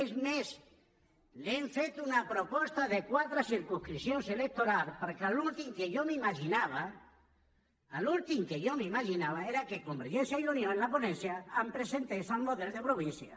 és més hem fet una proposta de quatre circumscripcions electorals perquè l’últim que jo m’imaginava l’últim que jo m’imaginava era que convergència i unió en la ponència em presentés el model de província